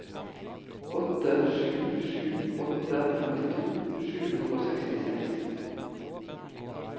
åtte sju sju åtte femtito sju hundre og sekstiseks